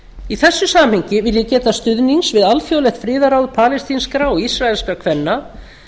í þessu samhengi vil ég geta stuðnings við alþjóðlegt friðarráð palestínskra og íraelskra kvenna